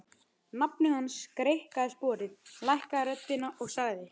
Nafni hans greikkaði sporið, lækkaði röddina og sagði